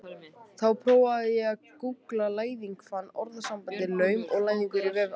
Þá prófaði ég að gúggla læðing og fann orðasambandið laum og læðingur á vef Árnastofnunar.